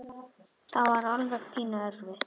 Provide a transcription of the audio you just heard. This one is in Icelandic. Það var alveg pínu erfitt.